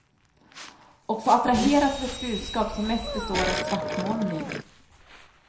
Och få attraheras av ett budskap som mest består av svartmålning.